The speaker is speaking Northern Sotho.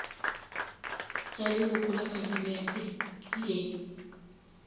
tša leloko la kabinete le